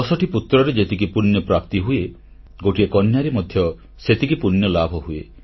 ଦଶଟି ପୁତ୍ରରେ ଯେତିକି ପୁଣ୍ୟ ପ୍ରାପ୍ତିହୁଏ ଗୋଟିଏ କନ୍ୟାରେ ମଧ୍ୟ ସେତିକି ପୂଣ୍ୟଲାଭ ହୁଏ